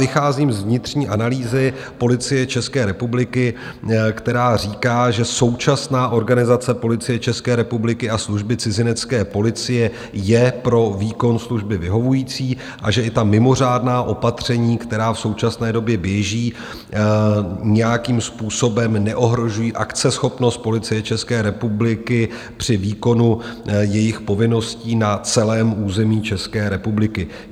Vycházím z vnitřní analýzy Policie České republiky, která říká, že současná organizace Policie České republiky a Služby cizinecké policie je pro výkon služby vyhovující a že i ta mimořádná opatření, která v současné době běží nějakým způsobem, neohrožují akceschopnost Policie České republiky při výkonu jejích povinností na celém území České republiky.